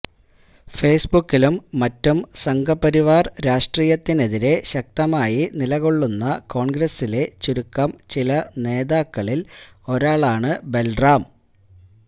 ഫേയ്സ്ബുക്കിലും മറ്റും സംഘപരിവാര് രാഷ്ട്രീയത്തിനെതിരെ ശക്തമായി നിലകൊള്ളുന്ന കോണ്ഗ്രസ്സിലെ ചുരുക്കം ചില നേതാക്കളില് ഒരാളാണ് ബല്റാം